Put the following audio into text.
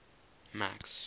max